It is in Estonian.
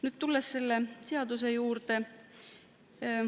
Nüüd tulen selle seaduse juurde.